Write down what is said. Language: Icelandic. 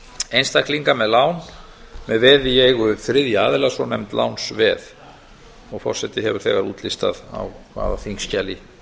einstaklinga með lán með veði í eigu þriðja aðila svonefnd lánsveð og forseti hefur þegar útlistað það á hvaða þingskjali